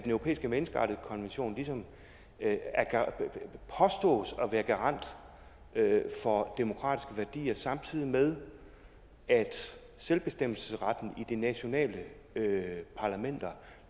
europæiske menneskerettighedskonvention ligesom påstås at være garant for demokratiske værdier samtidig med at selvbestemmelsesretten i de nationale parlamenter